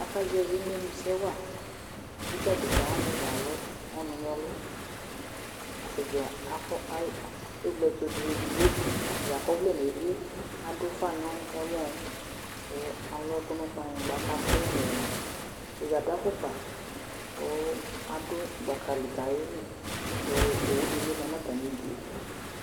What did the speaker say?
Akazɛvi imenu sɛ waKʋ adeka wani dza alʋ ɔnu nʋ ɛlʋ atani dza akɔ, ɛwle ɛtu du edigboAtani akɔ ɔvlɛ edigbo, adʋ ʋfa nʋ ɛmɔkʋ alʋ ɛkʋ nʋ kplanyigba, kʋ atɛ ɛlu ɛluatani adʋ afukpakʋ atɛ nʋ gbaka li kʋ ayeli kʋ owu di ma nu atami'due